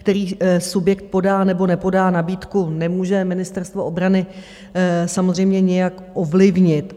Který subjekt podá nebo nepodá nabídku, nemůže Ministerstvo obrany samozřejmě nijak ovlivnit.